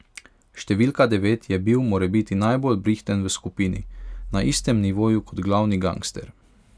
Številka devet je bil morebiti najbolj brihten v skupini, na istem nivoju kot glavni gangster.